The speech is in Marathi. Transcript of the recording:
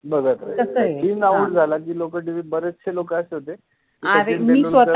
बघत राहायचे, सचिन आउट झाला कि लोक T. V बरचशे लोक आहेत तशे, अरे मिच स्वता